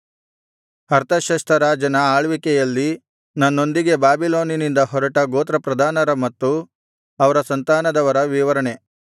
ಅರ್ತಷಸ್ತ ರಾಜನ ಆಳ್ವಿಕೆಯಲ್ಲಿ ನನ್ನೊಂದಿಗೆ ಬಾಬಿಲೋನಿನಿಂದ ಹೊರಟ ಗೋತ್ರಪ್ರಧಾನರ ಮತ್ತು ಅವರ ಸಂತಾನದವರ ವಿವರಣೆ